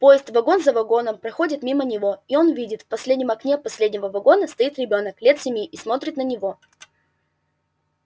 поезд вагон за вагоном проходит мимо него и он видит в последнем окне последнего вагона стоит ребёнок лет семи и смотрит на него